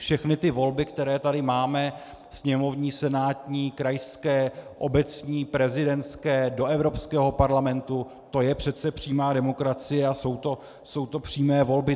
Všechny ty volby, které tady máme - sněmovní, senátní, krajské, obecní, prezidentské, do Evropského parlamentu - to je přece přímá demokracie a jsou to přímé volby.